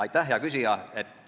Aitäh, hea küsija!